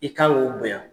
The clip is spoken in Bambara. I kan k'o bonya